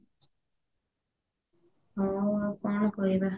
ହଉ ଆଉ କଣ କହିବା